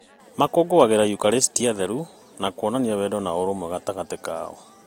Makũũngũagĩra yukarĩstia theru na kuonania wendo na ũrũmwe gatagatĩ kao.